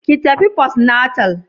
Ki tafi "postnatal"?